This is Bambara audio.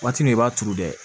Waati min i b'a turu dɛ